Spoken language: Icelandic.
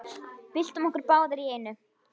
Byltum okkur báðar í einu.